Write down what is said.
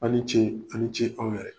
Aw ni ce aw ni ce aw yɛrɛ ye